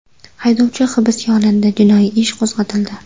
Haydovchi hibsga olindi, jinoiy ish qo‘zg‘atildi.